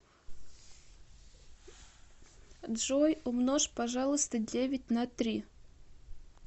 джой умножь пожалуйста девять на три